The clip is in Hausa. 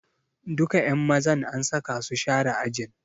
Duka ƴan mazan an saka su share ajin.